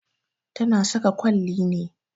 Ta na saka kwalli ne